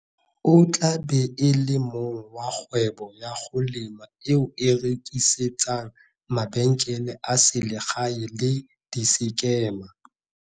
O tla be e le mong wa kgwebo ya go lema eo e rekisetsang mabenkele a selegae le disekema.